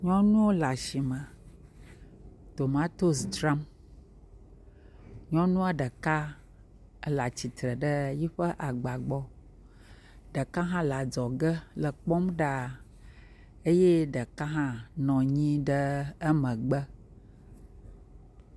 Nyɔnuwo le asime tomatosi dzram, nyɔnua ɖeka ele atsitre le yiƒe agba gbɔ, ɖeka hã le adzɔge le ekpɔm ɖaa eye ɖeka hã nɔ anyi ɖe emegbe.